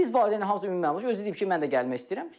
Biz valideynin hamısı ümumi özü deyib ki, mən də gəlmək istəyirəm.